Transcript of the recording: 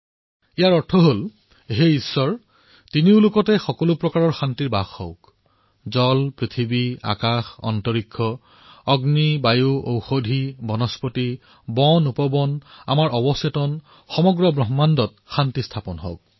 ইয়াৰ অৰ্থ হল হে ঈশ্বৰ তিনিও লোকত যাতে শান্তিৰ স্থাপনা হওক জলত পৃথিৱীত আকাশত মহাকাশত অগ্নিত বায়ুত ঔষধিত বনস্পতিত উপবনত অবচেতনত সম্পূৰ্ণ ব্ৰক্ষ্মাণ্ডত শান্তিৰ স্থাপনা হওক